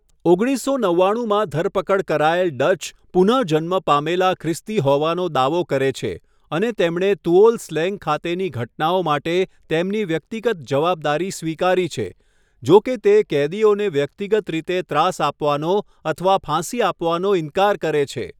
ઓગણીસસો નવ્વાણુંમાં ધરપકડ કરાયેલ ડચ, પુનઃજન્મ પામેલા ખ્રિસ્તી હોવાનો દાવો કરે છે અને તેમણે તુઓલ સ્લેંગ ખાતેની ઘટનાઓ માટે તેમની વ્યક્તિગત જવાબદારી સ્વીકારી છે, જો કે તે કેદીઓને વ્યક્તિગત રીતે ત્રાસ આપવાનો અથવા ફાંસી આપવાનો ઇનકાર કરે છે.